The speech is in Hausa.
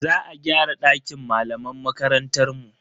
Za a gyara dakin malaman makarantar mu.